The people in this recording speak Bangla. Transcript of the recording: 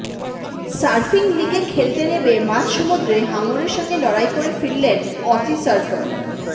সার্ফিং লিগে খেলতে নেমে মাঝসমুদ্রে হাঙরের সঙ্গে লড়াই করে ফিরলেন অসি সার্ফার